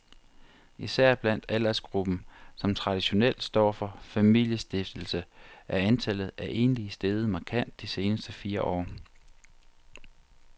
Især blandt aldersgruppen, som traditionelt står for familiestiftelse, er antallet af enlige steget markant de seneste fire år.